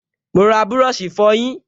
Mo ra búrọ̀ṣì ìfọyín